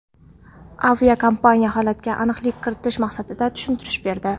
Aviakompaniya holatga aniqlik kiritish maqsadida tushuntirish berdi.